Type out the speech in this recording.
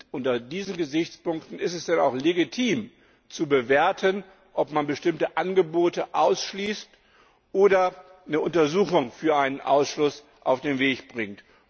Unter diesen Gesichtspunkten ist es dann auch legitim zu bewerten, ob man bestimmte Angebote ausschließt oder eine Untersuchung für einen Ausschluss auf den Weg bringt.